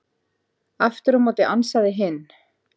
Aftur á móti ansaði hinn: